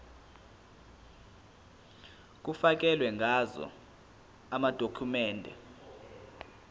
kufakelwe ngazo amadokhumende